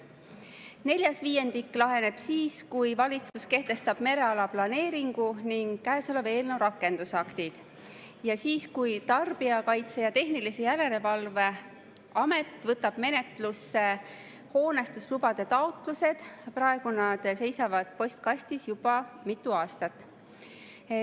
Neljas viiendik laheneb siis, kui valitsus kehtestab mereala planeeringu ning käesoleva eelnõu rakendusaktid, ja siis, kui Tarbijakaitse ja Tehnilise Järelevalve Amet võtab menetlusse hoonestuslubade taotlused, mis on seisnud postkastis juba mitu aastat.